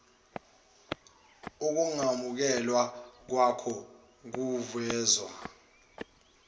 ukungamukelwa kwako kuvezwa